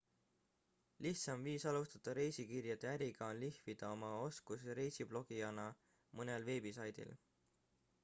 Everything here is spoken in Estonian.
lihtsaim viis alustada reisikirjade äriga on lihvida oma oskusi reisiblogijana mõnel veebisaidil